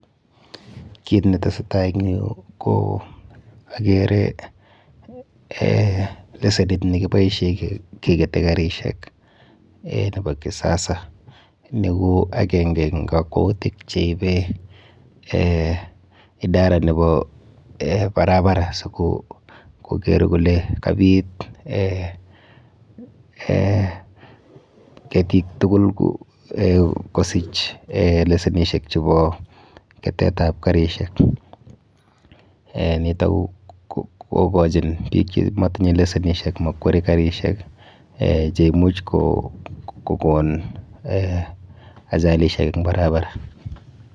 Kit netesetai ing yu ko akere eh lesenit nekiboishe kekete kerishek eh nepo kisasa. Ni ko akenke eng kakwoutik cheipe idara nepo barabara sikoker kole kapit eh ketik kukul kosich lesenishek chepo ketetap karishek. Nito kokochin biik chemotinye lesenishek makweri karishek cheimuch kokon eh ajalishek eng barabara.